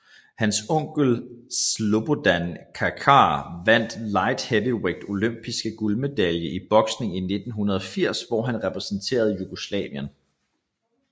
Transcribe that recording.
Hans onkel Slobodan Kačar vandt Light Heavyweight Olympiske guldmedalje i boksning i 1980 hvor han repræsenterede Jugoslavien